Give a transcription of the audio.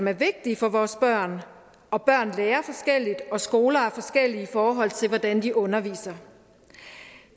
er vigtige for vores børn og børn lærer forskelligt og skoler er forskellige i forhold til hvordan de underviser